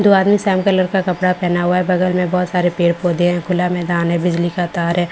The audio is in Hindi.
दो आदमी सेम कलर का कपड़ा पहनना है हुआ है बगल में बहुत सारे पेड़ पौधे है खुला मैदान है बिजली का तार है काफी बड़ा य --